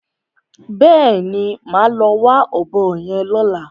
Bẹ́ẹ̀ni, màá lọ wá ọ̀bọ yẹn lọ́la.